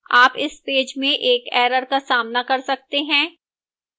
आप इस पेज में एक error का सामना कर सकते हैं